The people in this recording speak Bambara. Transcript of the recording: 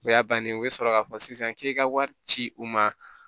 O y'a bannen o bɛ sɔrɔ k'a fɔ sisan k'e ka wari ci u ma